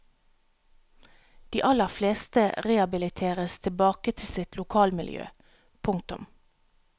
De aller fleste rehabiliteres tilbake til sitt lokalmiljø. punktum